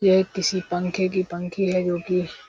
यह किसी पंखे की पंखी है जोकि --